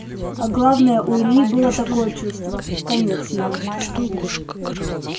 а главное у ильи было такое чувство конец ему